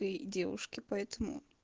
и девушки поэтому